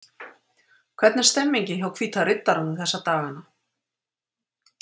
Hvernig er stemningin hjá Hvíta riddaranum þessa dagana?